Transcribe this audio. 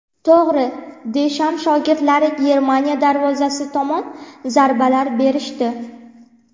To‘g‘ri, Desham shogirdlari Germaniya darvozasi tomon zarbaar berishdi.